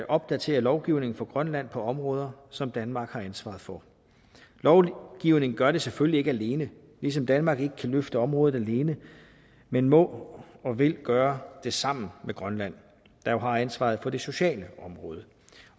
opdatere lovgivningen for grønland på områder som danmark har ansvaret for lovgivning gør det selvfølgelig ikke alene ligesom danmark ikke kan løfte området alene men må og vil gøre det sammen med grønland der jo har ansvaret på det sociale område